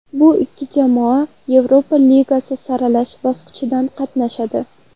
Bu ikki jamoa Yevropa Ligasi saralash bosqichida qatnashadi.